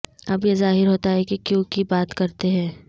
اب یہ ظاہر ہوتا ہے کہ کیوں کی بات کرتے ہیں